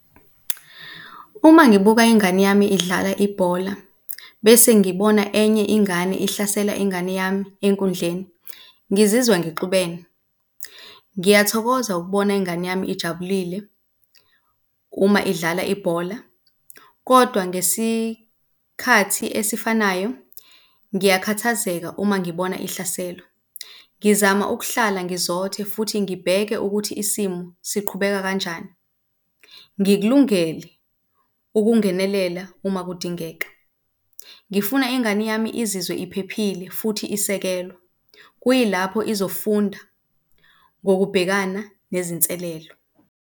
Uma ngibuka ingane yami idlala ibhola bese ngibona enye ingane ihlasela ingane yami enkundleni, ngizizwa ngixubene. Ngiyathokoza ukubona ingane yami ijabulile uma udlala ibhola kodwa ngesikhathi esifanayo ngiyakhathazeka uma ngibona ihlaselwa. Ngizama ukuhlala ngizothe futhi ngibheke ukuthi isimo siqhubeka kanjani. Ngikulungele ukungenelela uma kudingeka. Ngifuna ingane yami izizwe iphephile futhi isekelwa, kuyilapho izofunda ngokubhekana nezinselelo.